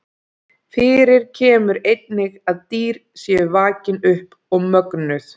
Fyrir kemur einnig að dýr séu vakin upp og mögnuð.